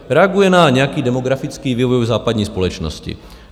Reaguje na nějaký demografický vývoj v západní společnosti.